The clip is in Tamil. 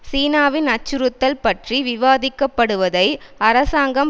சீனாவின் அச்சுறுத்தல் பற்றி விவாதிக்கப்படுவதை அரசாங்கம்